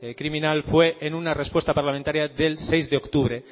criminal fue en una respuesta parlamentaria del seis de octubre